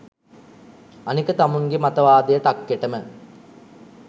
අනික තමුන්ගෙ මතවාදය ටක්කෙටම